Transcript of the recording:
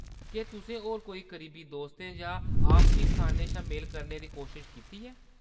केह्‌‌ तुसें होर कोई करीबी दोस्तें जां आपसी स्थानें शा मेल करने कीती कोशश कीती ऐ ?